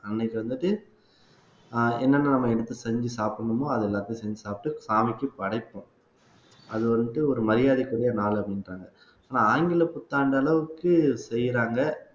அன்னைக்கு வந்துட்டு ஆஹ் என்னென்ன நம்ம எடுத்து செஞ்சு சாப்பிடணுமோ அது எல்லாத்தையும் செஞ்சு சாப்பிட்டு சாமிக்கு படைப்போம் அது வந்துட்டு ஒரு மரியாதைக்குரிய நாள் அப்படின்றாங்க ஆனா ஆங்கில புத்தாண்டு அளவுக்கு செய்யறாங்க